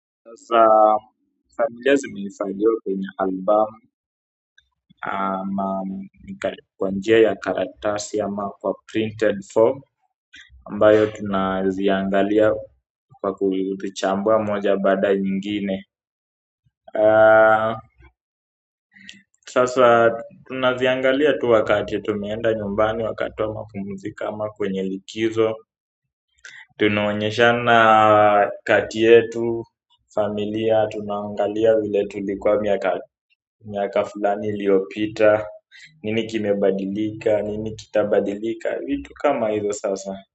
Sasa familia zimenisaidia kwenye album kwa njia ya karatasi ama kwa printed form ambayo tunaziangalia kwa kulichambua moja baada ya ingine sasa tunaziangalia tu wakati tumeenda nyumbani wakati wa mapumziko ama kwenye likizo. Tunaonyeshana kati yetu, familia, tunaangalia vile tulikuwa miaka fulani iliopita nini kimebadilika, nini kita badilika, vitu kama hilo sasa.